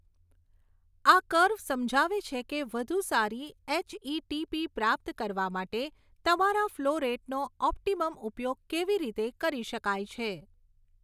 આ કર્વ સમજાવે છે કે વધુ સારી એચઈટીપી પ્રાપ્ત કરવા માટે તમારા ફ્લો રેટનો ઓપ્ટીમમ ઉપયોગ કેવી રીતે કરી શકાય છે.